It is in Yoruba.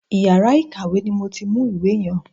Iyàrá ìkàwé ni mo ti mú ìwé yen.